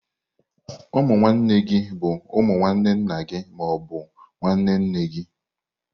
Ụmụ nwanne gi bụ umu nwanne nna gị ma ọ bụ nwanne nne gị.